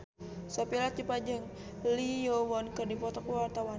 Sophia Latjuba jeung Lee Yo Won keur dipoto ku wartawan